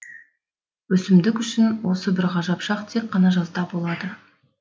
өсімдік үшін осы бір ғажап шақ тек қана жазда болады